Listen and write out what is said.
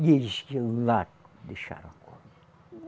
E eles, lá, deixaram a corda.